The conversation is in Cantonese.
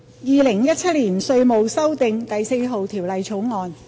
《2017年稅務條例草案》。